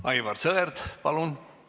Aivar Sõerd, palun!